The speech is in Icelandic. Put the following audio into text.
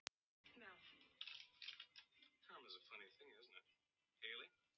En hér var annað og meira á ferð.